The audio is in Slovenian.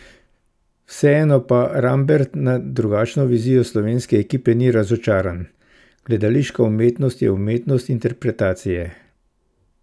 Vseeno pa Rambert na drugačno 'vizijo' slovenske ekipe ni razočaran: 'Gledališka umetnost je umetnost interpretacije.